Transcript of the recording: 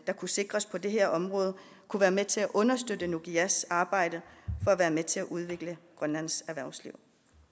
kunne sikres på det her område kunne være med til at understøtte nukigas arbejde for at være med til at udvikle grønlands erhvervsliv